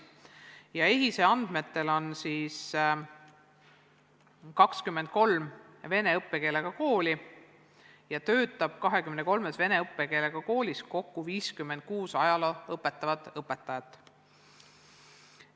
EHIS-e andmetel on meil 23 vene õppekeelega kooli ja neis töötab kokku 56 ajalugu õpetavat õpetajat.